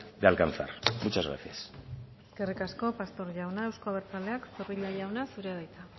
de alcanzar muchas gracias eskerrik asko pastor jauna euzko abertzaleak zorrilla jauna zurea da hitza